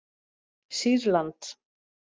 Sýrland